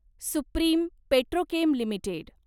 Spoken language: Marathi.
supreme Petrochem limited